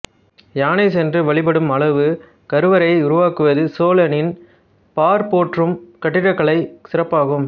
யானை சென்று வழிபடும் அளவு கருவறையை உருவாக்குவது சோழனின் பார்போற்றும் கட்டிடகலை சிறப்பாகும்